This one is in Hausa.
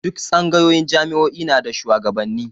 Duk tsangayoyin jami'o'i na da shuwagabanni